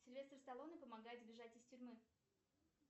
сильвестор сталоне помогает сбежать из тюрьмы